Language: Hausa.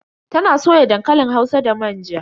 Ta na soya dankalin hausa da manja.